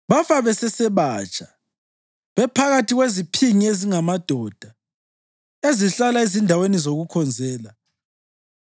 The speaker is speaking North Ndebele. Bafa besesebatsha, bephakathi kweziphingi ezingamadoda, ezihlala ezindaweni zokukhonzela.